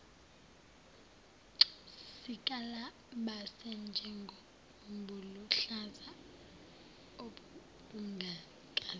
sikalabase njengobuluhlaza obungakaze